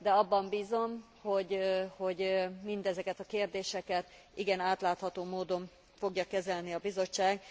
De abban bízom, hogy mindezeket a kérdéseket igen átlátható módon fogja kezelni a Bizottság.